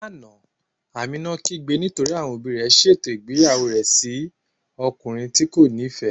Lána, Àmínà kígbè nítorí àwọn ọbì rẹ̀ sétò igbeyàwó rẹ̀ sí ọ̀kùnrin tí́ kò nífẹ́.